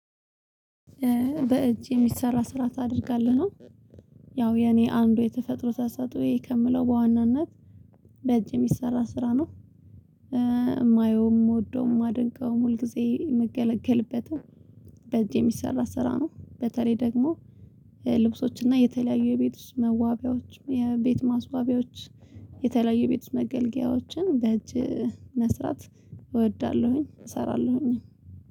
በእጅ የሚሰራ ስራ ታደርጋለህ ነው። ያው የኔ አንዱ የተፈጥሮ ታሳጡኝ ከምለው በዋናነት በእጅ የሚሰራ ስራ ነው። የማየውም የምወደውም የማደንቀውም ሁል ጊዜ የምገለገልበትም። በዚህ የሚሰራ ስራ ነው በተለይ ደግሞ ልብሶችና የተለያዩ የቤት ውስጥ መዋቢያዎች የቤት ማስዋቢያዎች የተለያዩ የቤት መገልገያዎችን በእጅ መስራት እወዳለሁኝ። እሰራለሁኝ